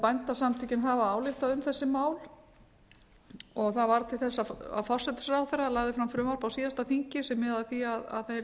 bændasamtökin hafa ályktað um þessi mál og það varð til þess að forsætisráðherra lagði fram frumvarp á síðasta þingi sem miðar að því að það yrði